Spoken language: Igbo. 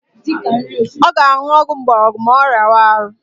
Ọ ga-aṅụ ọgwụ mgborogwu ma ọ rịawa ọrịa